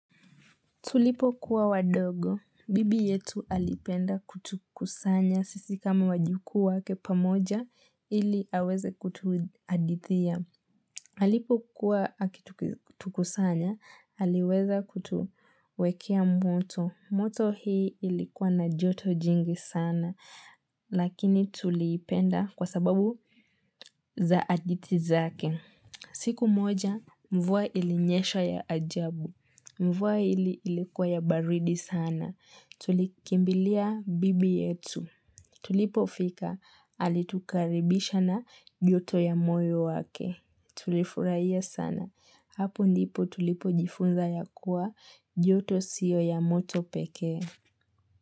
Tulipokuwa wadogo, bibi yetu alipenda kutukusanya sisi kama wajukuu wake pamoja, ili aweze kutuhadithia. Alipo kuwa akitukusanya, aliweza kutuwekea moto. Moto hii ilikuwa na joto jingi sana, lakini tuliipenda kwa sababu za hadithi zake. Siku moja, mvua ilinyesha ya ajabu. Mvua hili ilikuwa ya baridi sana. Tulikimbilia bibi yetu. Tulipofika alitukaribisha na joto ya moyo wake. Tulifurahia sana. Hapu ndipo tulipo jifunza ya kuwa joto siyo ya moto peke.